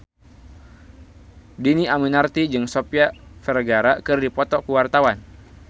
Dhini Aminarti jeung Sofia Vergara keur dipoto ku wartawan